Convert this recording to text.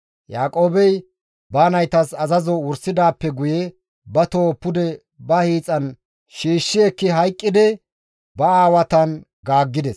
Yaaqoobey ba naytas azazo wursidaappe guye ba toho pude ba hiixan shiishshi ekkidi hayqqidi ba aawatan gaaggides.